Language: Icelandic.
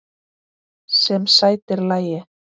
Sem sætir lagi.